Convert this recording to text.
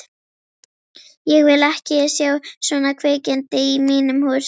Ég vil ekki sjá svona kvikindi í mínum húsum!